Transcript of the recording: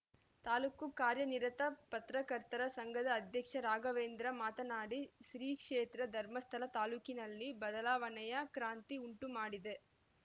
ತಾಲೂಕು ಕಾರ್ಯನಿರತ ಪರ್ತಕರ್ತರ ಸಂಘದ ಅಧ್ಯಕ್ಷ ರಾಘವೇಂದ್ರ ಮಾತನಾಡಿ ಶ್ರೀ ಕ್ಷೇತ್ರ ಧರ್ಮಸ್ಥಳ ತಾಲೂಕಿನಲ್ಲಿ ಬದಲಾವಣೆಯ ಕ್ರಾಂತಿ ಉಂಟುಮಾಡಿದೆ